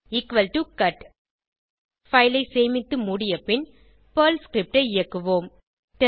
equal to cut file ஐ சேமித்து மூடி பின் பெர்ல் ஸ்கிரிப்ட் ஐ இயக்குவோம்